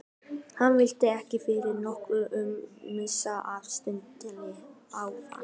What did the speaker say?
Hann vildi ekki fyrir nokkurn mun missa af samtali afanna.